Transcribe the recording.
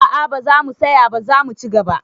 A'a, ba zamu saya ba, zamu ci gaba